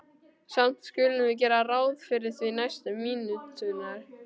Samt skulum við gera ráð fyrir því næstu mínúturnar.